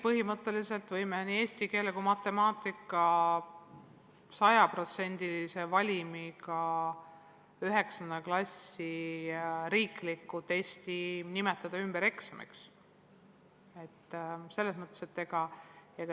Põhimõtteliselt me võime nii eesti keele kui ka matemaatika sajaprotsendise valimiga 9. klassi riikliku testi nimetada ümber eksamiks.